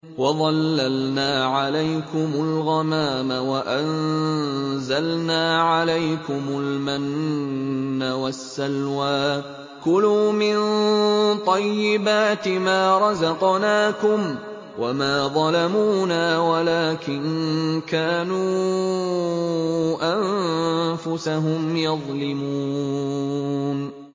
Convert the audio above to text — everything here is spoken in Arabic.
وَظَلَّلْنَا عَلَيْكُمُ الْغَمَامَ وَأَنزَلْنَا عَلَيْكُمُ الْمَنَّ وَالسَّلْوَىٰ ۖ كُلُوا مِن طَيِّبَاتِ مَا رَزَقْنَاكُمْ ۖ وَمَا ظَلَمُونَا وَلَٰكِن كَانُوا أَنفُسَهُمْ يَظْلِمُونَ